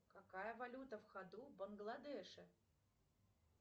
какая валюта в ходу в бангладеше